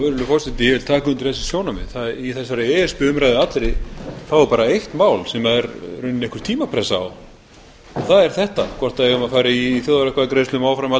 forseti ég tek undir þessi sjónarmið í þeirri e s b umræðu allri er bara eitt mál sem er einhver tímapressa á og það er þetta hvort við eigum að fara í þjóðaratkvæðagreiðslu um áframhald